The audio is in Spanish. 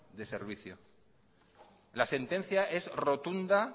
de servicio la sentencia es rotunda